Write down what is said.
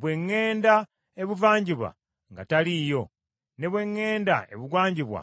“Bwe ŋŋenda ebuvanjuba, nga taliiyo; ne bwe ŋŋenda ebugwanjuba,